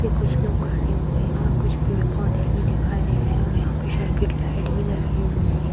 पे कुछ लोग खड़े हुए हैं और कुछ पेड़ पौधे भी दिखाई दे रहे हैं और यहाँ पे सर्किट लाइट भी लगी हुई है।